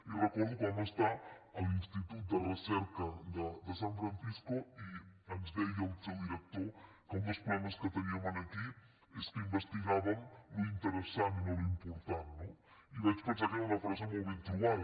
i recordo que vam estar a l’institut de recerca de san francisco i ens deia el seu director que un dels problemes que teníem aquí és que investigàvem l’interessant i no l’important no i vaig pensar que era una frase molt ben trobada